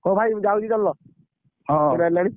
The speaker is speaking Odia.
ହଉ ଭାଇ ମୁଁ ଯାଉଚି ଜାଣିଲ ।